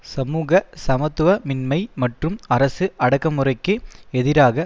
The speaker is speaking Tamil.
சமூக சமத்துவமின்மை மற்றும் அரசு அடக்குமுறைக்கு எதிராக